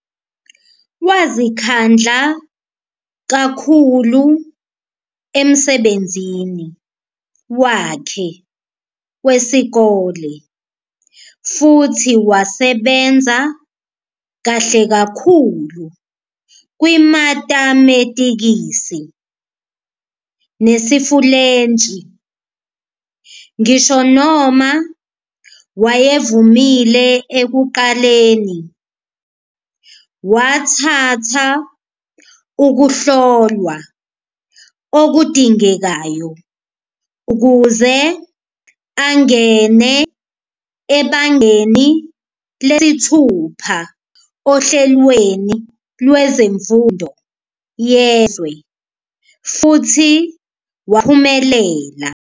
Wazikhandla kakhulu emsebenzini wakhe wesikole futhi wasebenza kahle kakhulu kwimatemetikisi nesiFulentshi. Ngisho noma wayevumile ekuqaleni, wathatha ukuhlolwa okudingekayo ukuze angene ebangeni lesithupha ohlelweni lwezemfundo yezwe futhi waphumelela.